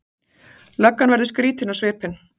Löggan verður skrýtin á svipinn.